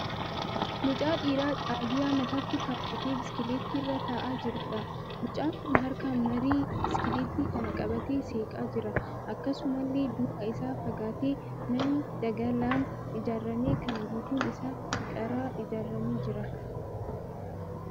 Mucaa dhiiraa xaagiyaa mataatti kaawwatee biskileetti irra ta'aa jiruudha. Mucaan kun harkaan marii biskileetti kanaa qabatee seeqaa jira. Akkasumallee duubaa isaan fagaatee manni daggalaan ijaarame kan guutuun isaa qaraa ijaaramee jira.